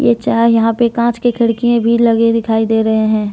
यहां पे कांच के खिड़कियाँ भी लगे दिखाई दे रही हैं।